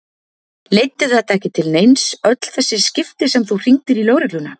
Leiddi þetta ekki til neins, öll þessi skipti sem þú hringdir í lögregluna?